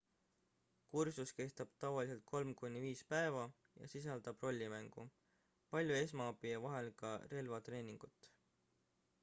kursus kestab tavaliselt 3-5 päeva ja sisaldab rollimängu palju esmaabi ja vahel ka relvatreeningut